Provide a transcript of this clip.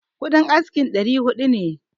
Kuɗin askin ɗari hudu ne